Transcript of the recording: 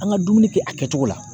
An ŋa dumuni kɛ a kɛcogo la.